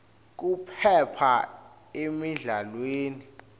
kuphepha emidlalweni